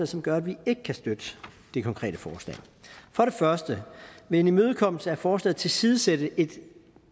som gør at vi ikke kan støtte det konkrete forslag for det første vil en imødekommelse af forslaget tilsidesætte et